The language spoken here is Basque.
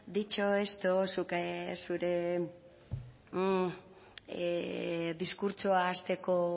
dicho esto zuk zure diskurtsoa hasteko